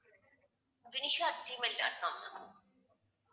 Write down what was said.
vinisha at gmail dot com ma'am